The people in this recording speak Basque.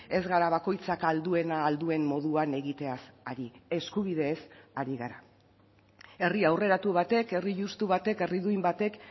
ez gara bakoitzak ahal duena ahal duen moduan egiteaz ari eskubideez ari gara herri aurreratu batek herri justu batek herri duin batek